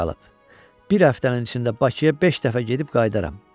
Bir həftənin içində Bakıya beş dəfə gedib qayıdaram.